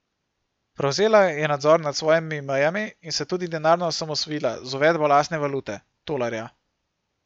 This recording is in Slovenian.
Prevzela je nadzor nad svojimi mejami in se tudi denarno osamosvojila z uvedbo lastne valute, tolarja.